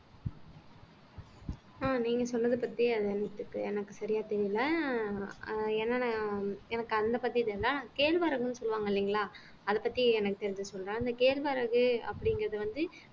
ஆஹ் நீங்க சொன்னது பத்தி அது எனக்கு சரியா தெரியலே ஆஹ் ஏன்னா நான் எனக்கு அந்த பதில் இல்ல கேழ்வரகுன்னு சொல்லுவாங்க இல்லைங்களா அதப் பத்தி எனக்கு தெரிஞ்சு சொல்றேன் அந்த கேழ்வரகு அப்படிங்கிறது வந்து